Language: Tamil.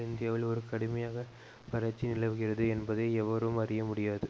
இந்தியாவில் ஒரு கடுமையான வறட்சி நிலவுகிறது என்பதை எவரும் அறிய முடியாது